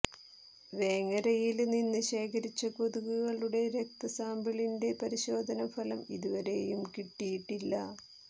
വേങ്ങരയില് നിന്ന് ശേഖരിച്ച കൊതുകുകളുടെ രക്തസാമ്പിളിന്റെ പരിശോധന ഫലം ഇതുവരെയും കിട്ടിയിട്ടില്ല